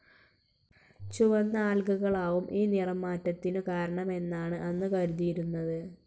ചുവന്ന ആൽഗകളാവും ഈ നിറം മാറ്റത്തിനു കാരണമെന്നാണ് അന്ന് കരുതിയിരുന്നത്.